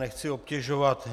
Nechci obtěžovat.